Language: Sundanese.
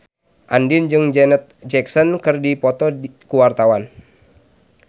Andien jeung Janet Jackson keur dipoto ku wartawan